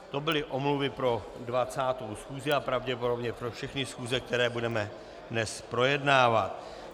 To byly omluvy pro 20. schůzi a pravděpodobně pro všechny schůze, které budeme dnes projednávat.